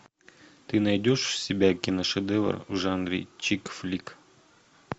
ты найдешь у себя киношедевр в жанре чикфлик